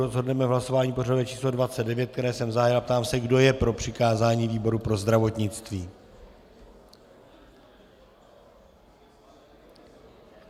Rozhodneme v hlasování pořadové číslo 29, které jsem zahájil, a ptám se, kdo je pro přikázání výboru pro zdravotnictví.